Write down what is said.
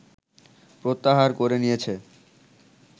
প্রত্যাহার করে নিয়েছে